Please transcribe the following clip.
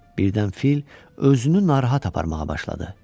Birdən fil özünü narahat aparmağa başladı.